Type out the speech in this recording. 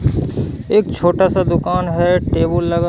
एक छोटा सा दुकान है टेबुल लगा--